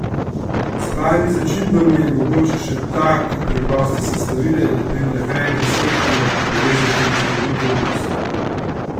S pravimi začimbami je mogoče še ta ko preproste sestavine, na primer hren in smetano, povezati v čudovite okuse.